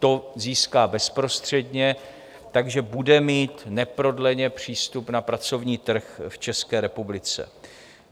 To získá bezprostředně, takže bude mít neprodleně přístup na pracovní trh v České republice.